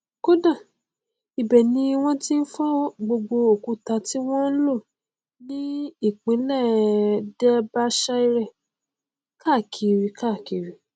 kódà ibẹ ni wọn ti n fọ gbogbo òkúta ti wọn n lò ní ìpínlẹ derbyshire káàkiri káàkiri